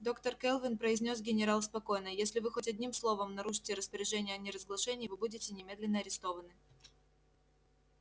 доктор кэлвин произнёс генерал спокойно если вы хоть одним словом нарушите распоряжения о неразглашении вы будете немедленно арестованы